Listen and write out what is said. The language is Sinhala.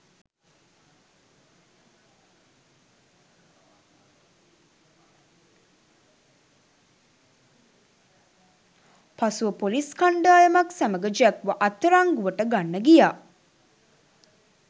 පසුව පොලිස් කණ්ඩායමක් සමග ජැක්ව අත්අඩංගුවට ගන්න ගියා